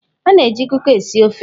A na-eji Kuka esi ofe.